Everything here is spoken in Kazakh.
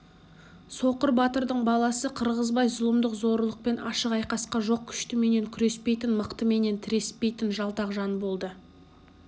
соқыр батырдың баласы қырғызбай зұлымдық-зорлықпен ашық айқасқа жоқ күштіменен күреспейтін мықтыменен тіреспейтін жалтақ жан болды